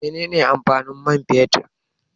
Mene ne amfanin mai fetur?